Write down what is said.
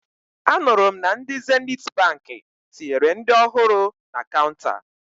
Anụrụ m na ndị Zenithi Baankị tinyere ndị ọhụrụ na kaụnta